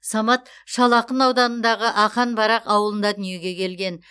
самат шал ақын ауданындағы ақан барақ ауылында дүниеге келген